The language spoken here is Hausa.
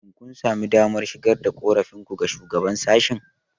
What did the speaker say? Shin kun sami damar shigar da korafinku ga Shugaban sashen?